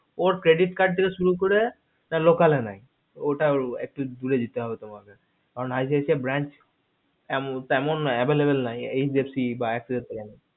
ওর credit card থেকে শুরু করে local এ নাই ওটা একটু দূরে যেতে হবে তোমাকে কারণ ICC bank তেমন নাই available নাই HDFC বা ICC কারণে